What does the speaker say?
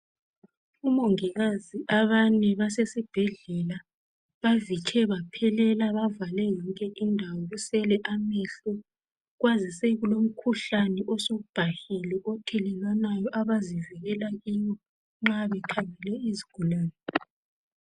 Omongikazi abane basesibhedlela bavitshe baphelela bavale yonke indawo kusele amehlo kwazise kulomkhuhlane osubhahile othelelwanayo abazivikela kiwo nxa bekhangele izigulane .